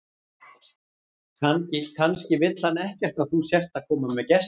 Kannski vill hann ekkert að þú sért að koma með gesti.